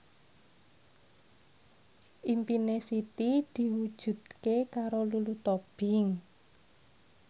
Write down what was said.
impine Siti diwujudke karo Lulu Tobing